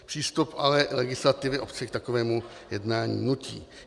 Přístup ale legislativy obce k takovému jednání nutí.